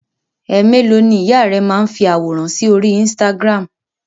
Ẹ̀ mélòó ni ìyá rẹ máa ń fi àwòrán sí orí Instagram?